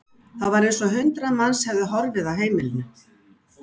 Það var eins og hundrað manns hefðu horfið af heimilinu.